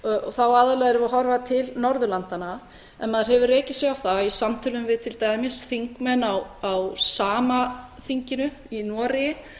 þá erum við aðallega að horfa til norðurlandanna en maður hefur rekið sig á það í samtölum við til dæmis þingmenn á sama þinginu í noregi